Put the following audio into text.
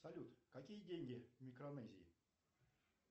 салют какие деньги в микронезии